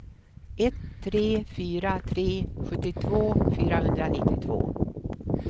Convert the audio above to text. ett tre fyra tre sjuttiotvå fyrahundranittiotvå